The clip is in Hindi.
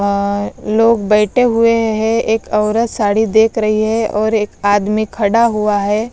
लोग बैठे हुए हैं एक औरत साड़ी देख रही है और एक आदमी खड़ा हुआ है।